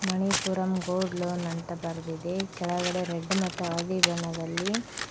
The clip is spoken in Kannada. ಮಣಿಪುರಂ ಗೋಲ್ಡ್ ಲೋನ್ ಅಂತ ಬರೆದಿದೆ ಕೆಳಗಡೆ ರೆಡ್ ಮತ್ತು ಹಳದಿ ಬಣ್ಣದಲ್ಲಿ--